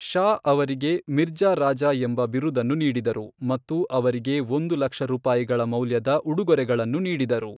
ಷಾ ಅವರಿಗೆ ಮಿರ್ಜಾ ರಾಜಾ ಎಂಬ ಬಿರುದನ್ನು ನೀಡಿದರು ಮತ್ತು ಅವರಿಗೆ ಒಂದು ಲಕ್ಷ ರೂಪಾಯಿಗಳ ಮೌಲ್ಯದ ಉಡುಗೊರೆಗಳನ್ನು ನೀಡಿದರು.